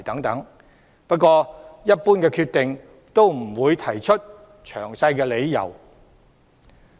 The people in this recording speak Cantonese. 但一般來說，有關當局不會提出詳細的理由。